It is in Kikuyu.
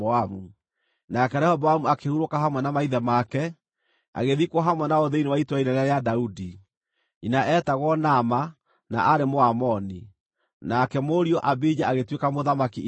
Nake Rehoboamu akĩhurũka hamwe na maithe make, agĩthikwo hamwe nao thĩinĩ wa itũũra inene rĩa Daudi. Nyina eetagwo Naama, na aarĩ Mũamoni. Nake mũriũ Abija agĩtuĩka mũthamaki ithenya rĩake.